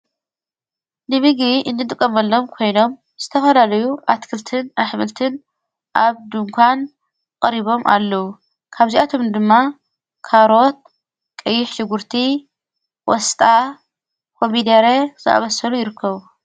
ንቢ ጊቢ እንተቀመሎም ኮይኖም ዝተፈላለዩ ኣትክልትን ኣኅምልትን ኣብ ድንኳን ቐሪቦም ኣለዉ ካብዚኣቶም ድማ ካሮት ቀይሽ ሽጉርቲ ወስጣ ኮሚደይረ ዝኣበሠሉ ይርከዉ።